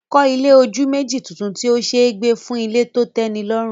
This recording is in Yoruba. Kọ́ ilé ojú méjì tuntun tí ó ṣe é gbé fún ilé tó tẹ́nilọ́rùn